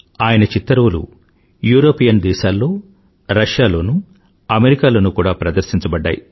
ఆయన చిత్తరువులు యూరోపియన్ దేశాల్లో రూస్ లోనూ అమెరికాలోనూ కూడా ప్రదర్శించబడ్డాయి